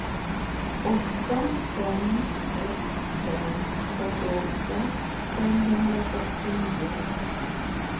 åtta fem ett fem fyrtioåtta femhundrasextionio